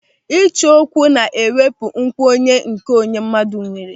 Ịcho okwu na-ewepụ nkwenye nke onwe mmadụ nwere.